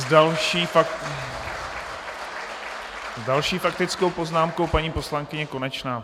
S další faktickou poznámkou paní poslankyně Konečná.